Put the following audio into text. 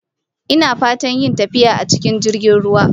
Ina fatar yin tafiya a cikin jirgin ruwa